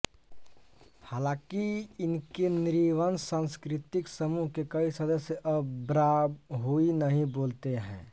हालाँकि इनके नृवंश सांस्कृतिकसमूह के कई सदस्य अब ब्राहुई नहीं बोलते हैं